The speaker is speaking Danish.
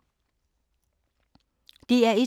DR1